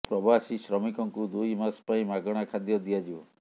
ପ୍ରବାସୀ ଶ୍ରମିକଙ୍କୁ ଦୁଇ ମାସ ପାଇଁ ମାଗଣା ଖାଦ୍ୟ ଦିଆଯିବ